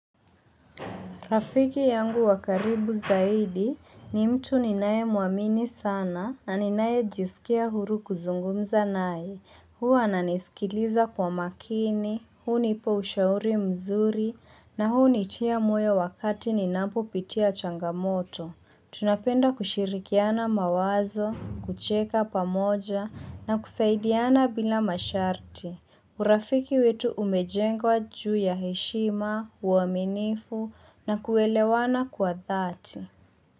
Rafiki yangu wakaribu zaidi ni mtu ninaye muamini sana na ninaye jisikia huru kuzungumza naye. Huu ananisikiliza kwa makini, huu nipo ushauri mzuri na huu nitia mwe wakati ninampo pitia changamoto. Tunapenda kushirikiana mawazo, kucheka pamoja na kusaidiana bila masharti. Urafiki wetu umejengwa juu ya heshima, uaminifu na kuelewana kwa dhati.